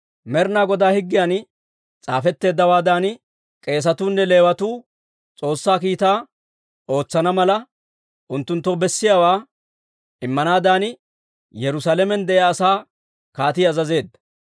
Med'inaa Godaa higgiyan s'aafetteeddawaadan, k'eesatuu nne Leewatuu S'oossaa kiitaa ootsana mala, unttunttoo bessiyaawaa immanaadan Yerusaalamen de'iyaa asaa kaatii azazeedda.